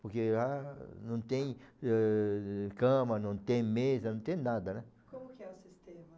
Porque lá não tem, ãh, cama, não tem mesa, não tem nada, né? Como que é o sistema?